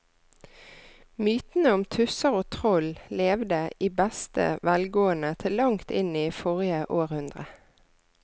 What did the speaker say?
Mytene om tusser og troll levde i beste velgående til langt inn i forrige århundre.